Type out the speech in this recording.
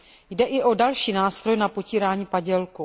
Jde i o další nástroj na potírání padělků.